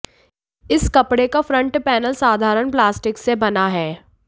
इस कपड़े का फ्रंट पैनल साधारण प्लास्टिक से बना है